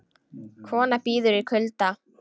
Kona bíður í kulda